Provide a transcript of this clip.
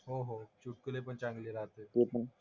चुटकुले पण चांगले राहते ते पण.